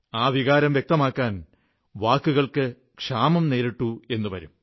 ആ വികാരം വ്യക്തമാക്കാൻ വാക്കുകൾക്ക് ക്ഷാമം നേരിട്ടെന്നു വരും